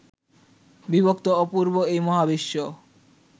বিভক্ত অপূর্ব এই মহাবিশ্ব